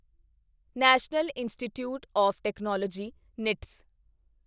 national institutes of technology knits